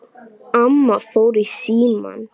Amma fór í símann.